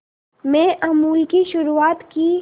में अमूल की शुरुआत की